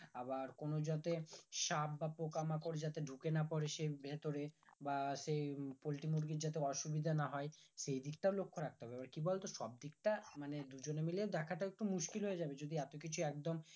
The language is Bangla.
আবার কোনো যাতে সাপ বা পোকামাকড় যাতে ঢুকে না পরে সেই ভিতরে বা সেই পোল্ট্রি মুরগি যাতে অসুবিধা না হয় সেই দিকটাও লক্ষ রাখতে হবে এবার কি বলতো সব দিকটা মানে দুজনে মিলে দেখাটা একটু মুশকিল হয়ে যাবে যদি এত কিছু একদম